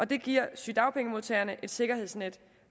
det giver sygedagpengemodtagerne et sikkerhedsnet